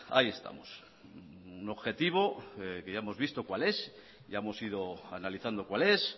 ahí estamos un objetivo que yahemos visto cuál es ya hemos ido analizando cuál es